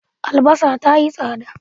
Albasa ta yi tsada.